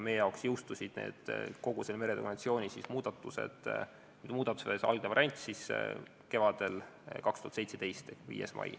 Meie jaoks jõustus meretöö konventsiooni muudatuste algne variant kevadel 2017, 5. mail.